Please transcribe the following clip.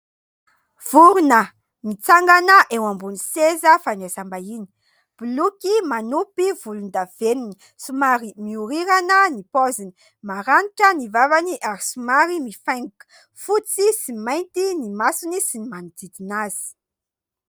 Vorona mitsangana eo ambony seza fandraisam-bahiny. Boloky manopy volondavenona, somary mihorirana ny paoziny. Maranitra ny vavany ary somary mifaingoka. Fotsy sy mainty ny masony sy ny manodidina azy.